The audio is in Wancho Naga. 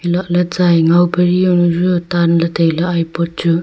lahley tsai angao pari yao nu yu tan ley tailey ipot chu.